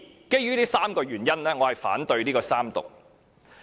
基於這3個原因，我反對三讀。